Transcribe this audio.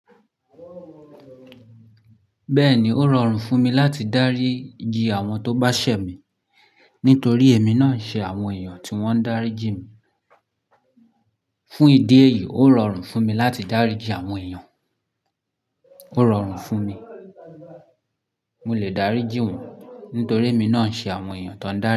Bẹ́ẹ̀ni, ó rọrùn fún mi láti dáríji àwọn tó bá ṣẹ̀ mi nítorí èmi náà ń ṣe àwọn èèyàn tí wọ́n ń dáríji mi. Fún ìdí èyí, ó rọrùn fún mi láti dáríji àwọn èèyàn. Ó rọrùn fún mi. Mo lè dáríji wọ́n nítorí èmi náà ń ṣe àwọn èèyàn tó ń dárí.